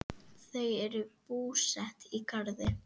Þau eru búsett í Garði.